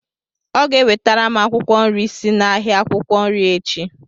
Ọ ga-ewetara m akwụkwọ nri si n'ahịa akwukwo nri echi.